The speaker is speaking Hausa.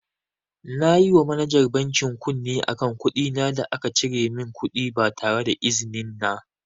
Nayi wa manajar bankin kunne akan kuɗina da aka cire min kuɗi ba tareda izinin na.